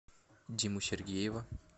диму сергеева